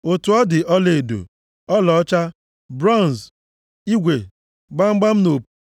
Otu ọ dị ọlaedo, ọlaọcha, bronz, igwe, gbamgbam na opu,